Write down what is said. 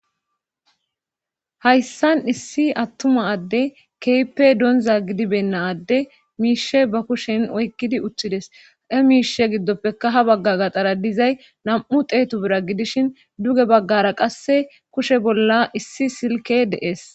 hayssan issi attuma adde keepe donza gidibenna adde miishe ba kushen oykkidi uttides e miishe giddoppeka ha bagga gaxara dizay nam7u teetu bira gidishin duge baggara qasse kushe bolla issi silke dees